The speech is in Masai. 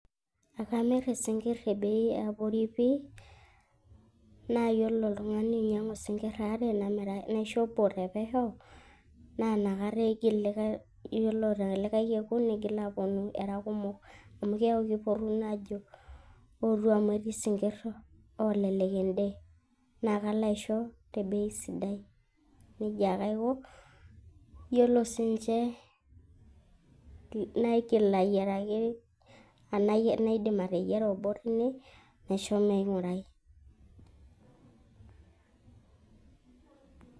ekamir isinkir te bei eabori pii. naa iyiolo oltung'ani oinyiang'u isinkir aare naisho obo te pesho, naa inakata eigil likae, iyiolo te likae kekun nigil aapuonu era kumok. amu kepuonu naa ajo ,ootu amu etii isnkir oolelek ede. naa kalo aisho, te bei sidai. nejia ake aiko, iyiolo sii ninche naigil ayiaraki, anaa naidim ateyiara obo teine naisho ming'urai.